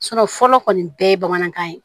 fɔlɔ kɔni bɛɛ ye bamanankan ye